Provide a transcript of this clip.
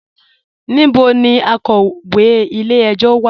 Níbọ̀ ni akọwé ilẹ̀-ẹ̀jọ̀ wa?